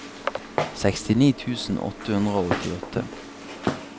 sekstini tusen åtte hundre og åttiåtte